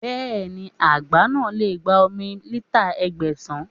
Bẹ́ẹ̀ni, àgbá náà lè gba omi lítà Ẹgbẹ̀sàn.